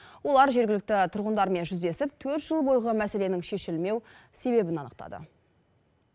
олар жергілікті тұрғындармен жүздесіп төрт жыл бойғы мәселенің шешілмеу себебін анықтады